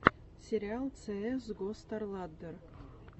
сериал цеэс го старладдер